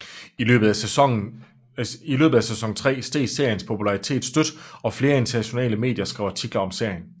I løbet af sæson tre steg seriens popularitet stødt og flere internationale medier skrev artikler om serien